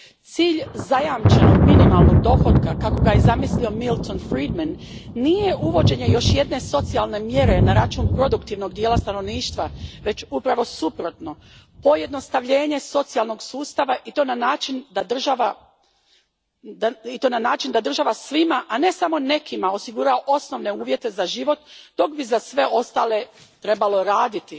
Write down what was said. Cilj zajamčenog minimalnog dohotka, kako ga je zamislio Milton Friedman, nije uvođenje još jedne socijalne mjere na račun produktivnog dijela stanovništva, već upravo suprotno pojednostavljenje socijalnog sustava i to na način da država svima, a ne samo nekima, osigura osnovne uvjete za život dok bi za sve ostale trebalo raditi.